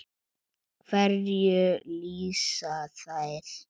Hverju lýsa þær?